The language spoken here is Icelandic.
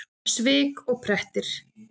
Svik og prettir!